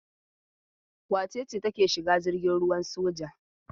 Wace ce take shiga jirgin ruwan soja?